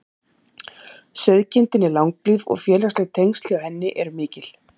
Sauðkindin er langlíf og félagsleg tengsl hjá henni eru mikil.